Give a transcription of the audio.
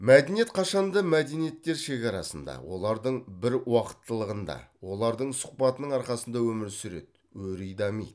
мәдениет қашанда мәдениеттер шекарасында олардың біруақыттылығында олардың сұхбатының арқасында өмір сүреді өри дамиды